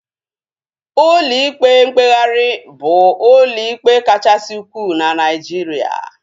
Ụlọ ikpe mkpegharị bụ ụlọ ikpe kachasị ukwuu na Naijiria